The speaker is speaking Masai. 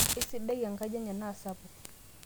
eisidai enkaji enye naa sapuk